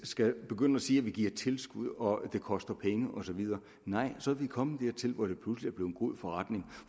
skal begynde at sige at vi giver tilskud og at det koster penge og så videre nej så er vi kommet dertil hvor det pludselig er blevet en god forretning